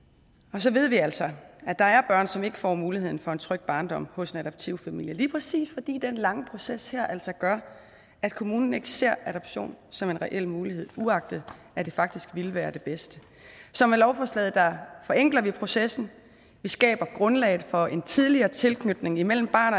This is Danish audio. og så ved vi altså at der er børn som ikke får muligheden for en tryg barndom hos en adoptivfamilie lige præcis fordi den her lange proces altså gør at kommunen ikke ser adoption som en reel mulighed uagtet at det faktisk ville være det bedste så med lovforslaget forenkler vi processen vi skaber grundlaget for en tidligere tilknytning imellem barn